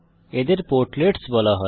এদের পোর্টলেটস বলা হয়